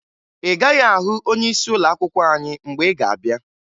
Ị gaghị ahụ onyeisi ụlọakwụkwọ anyị mgbe ị ga-abịa